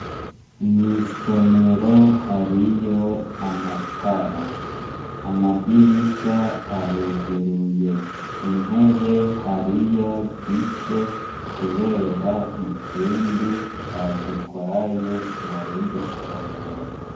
Mw'isomero hariyo amatara. Amadirisha aruguruye. Intebe hariyo zike kubera izindi bazitwaye mu rindi somero.